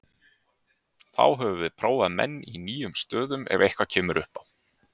Þá höfum við prófað menn í nýjum stöðum ef eitthvað kemur upp á.